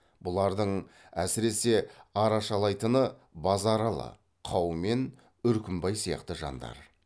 бұлардың әсіресе арашалайтыны базаралы қаумен үркімбай сияқты жандар